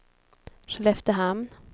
Skelleftehamn